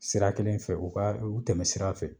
Sira kelen fɛ u ka u tɛmɛ sira fɛ